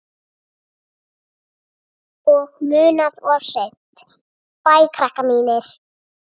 Og munað of seint.